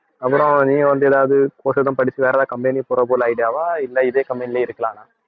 அப்புறம் நீங்க வந்து ஏதாவது course ஏதும் படிச்சு வேற ஏதாவது company போற போல idea வா இல்ல இதே company லயே இருக்கலான்னா